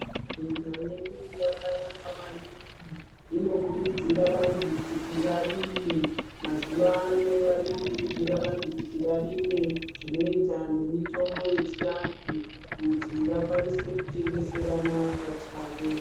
Nyika yedu yakanaka maningi. Inokurudzira vanhu kuti varime. Mazuwa ano vari kukurudzira kuti vanhu varime zvine chekuita nemitombo yechiantu kuti vakwanise kutengeserana pachavo.